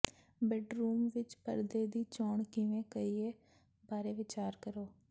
bedroom ਵਿਚ ਪਰਦੇ ਦੀ ਚੋਣ ਕਿਵੇਂ ਕਰੀਏ ਬਾਰੇ ਵਿਚਾਰ ਕਰੋ